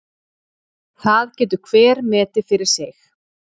Það getur hver metið fyrir sig.